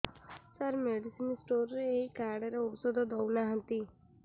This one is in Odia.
ସାର ମେଡିସିନ ସ୍ଟୋର ରେ ଏଇ କାର୍ଡ ରେ ଔଷଧ ଦଉନାହାନ୍ତି